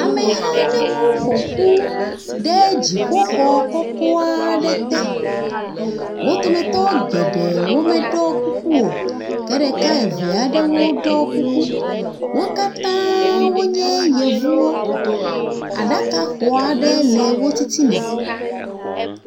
Ameha aɖewo ƒo ƒu ɖe dziƒo xɔ kɔkɔ aɖe te. Wo dometɔ geɖe meɖɔ kuku o ke ɖeka eve aɖewo ɖɔ kuku. Wo katã wonye yevuwo. Aɖaka xo aɖe le wo titina.